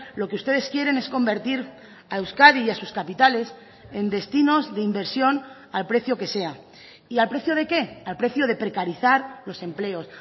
lo que ustedes quieren es convertir a euskadi y a sus capitales en destinos de inversión al precio que sea y al precio de qué al precio de precarizar los empleos